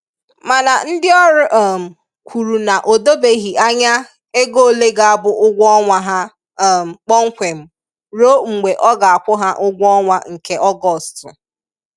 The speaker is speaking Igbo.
Mana ndị ọrụ um kwuru na o dobeghi anya ego ole ga-abụ ụgwọ ọnwa ha um kpọmkwem ruo mgbe a ga-akwụ ha ụgwọ ọnwa nke Ọgọstụ